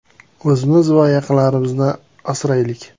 O‘zimiz va yaqinlarimizni asraylik!